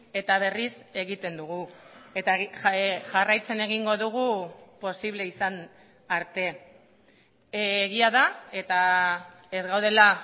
eta berriz egiten dugu eta jarraitzen egingo dugu posible izan arte egia da eta ez gaudela